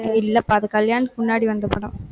இல்லப்பா, அது கல்யாணத்துக்கு முன்னாடி வந்த படம்.